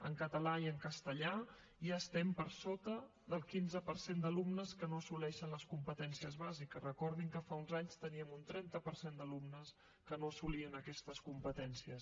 en català i en castellà ja estem per sota del quinze per cent d’alumnes que no assoleixen les competències bàsiques recordin que fa uns anys teníem un trenta per cent d’alumnes que no assolien aquestes competències